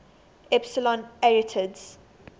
epsilon arietids